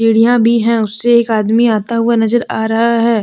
सीढ़ियां भी है उससे एक आदमी आता हुआ नजर आ रहा है।